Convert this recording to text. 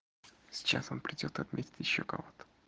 сейчас он придёт отметёт ещё кого-то